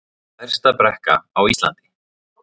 Stærsta brekka á Íslandi